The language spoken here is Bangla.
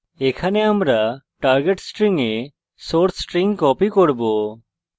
এখানে আমরা target string we source string copy করব